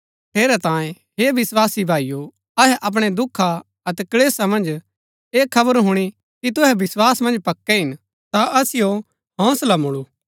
ठेरैतांये हे विस्वासी भाईओ अहै अपणै दुखा अतै कलेशा मन्ज ऐह खबर हुणी कि तुहै विस्वास मन्ज पक्कै हिन ता असिओ हौंसला मुळु